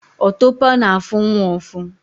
Otopo na-afu nwa ufu